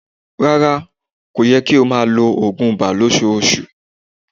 Rárá, kò yẹ kí a máa lo oògùn iba ní ọṣọọṣù.